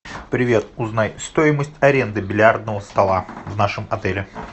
привет узнай стоимость аренды бильярдного стола в нашем отеле